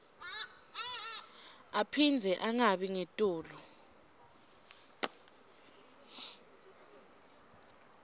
aphindze angabi ngetulu